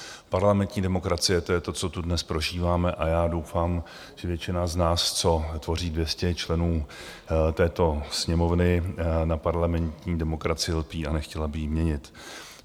Parlamentní demokracie, to je to, co tu dnes prožíváme, a já doufám, že většina z nás, co tvoří 200 členů této Sněmovny, na parlamentní demokracii lpí a nechtěla by ji měnit.